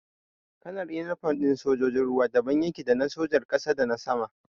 Kalar inifom ɗin sojojin ruwa daban yake da na sojar ƙasa da na sama.